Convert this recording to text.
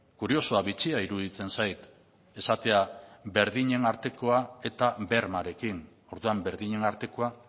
kuriosoa bitxia iruditzen zait esatea berdinen artekoa eta bermearekin orduan berdinen artekoa